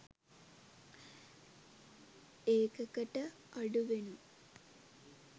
ඒකක ට අඩුවෙනුයි